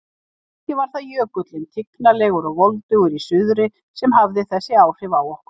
Kannski var það Jökullinn, tignarlegur og voldugur í suðri, sem hafði þessi áhrif á okkur.